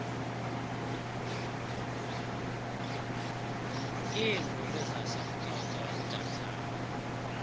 iinduli zasemtsotso emdantsane